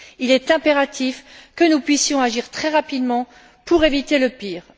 Il est impératif que nous puissions agir très rapidement pour éviter le pire.